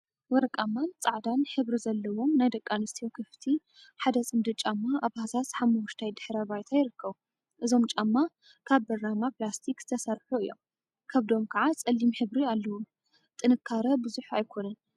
ወርቃማን ጻዕዳን ሕብሪ ዘለዎም ናይ ደቂ ኣንስትዮ ክፍቲ ሓደ ጽምዲ ጫማ ኣብ ሃሳስ ሓመኩሽታይ ድሕረ ባይታ ይርከቡ። እዞም ጫማ ካብ ብራማ ፕላስቲክ ዝተሰርሑ እዮም። ከብዶም ከዓ ጸሊም ሕብሪ ኣለዎም። ጥንካረ ቡዙሕ ኣይኮኑን።